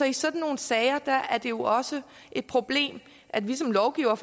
i sådan nogle sager er det jo også et problem at vi som lovgivere